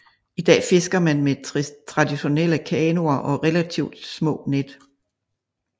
I dag fisker man med traditionelle kanoer og relativt små net